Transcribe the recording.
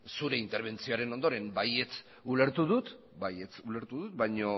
zure interbentzioaren ondoren baietz ulertu dut baino